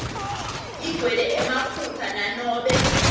igcwele emaphutsa nanobe